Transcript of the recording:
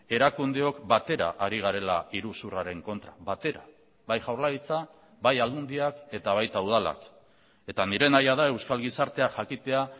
erakundeok batera ari garela iruzurraren kontra batera bai jaurlaritza bai aldundiak eta baita udalak eta nire nahia da euskal gizartea jakitea